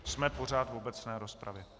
Jsme pořád v obecné rozpravě.